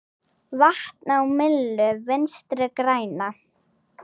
Vatn á myllu Vinstri grænna?